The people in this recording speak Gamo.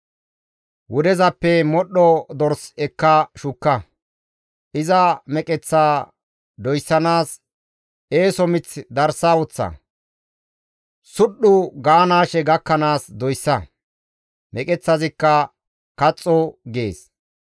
Wudezappe modhdho dors ekka shukka; iza meqeththaa doyssanaas eeso mith darsa woththa; sudhdhu gaanaashe gakkanaas doyssa; meqeththazikka kaxxo› gees.